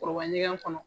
Kuruba ɲɛgɛn kɔnɔ